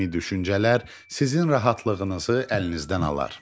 Kimi düşüncələr sizin rahatlığınızı əlinizdən alar.